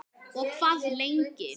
Og hvað lengi?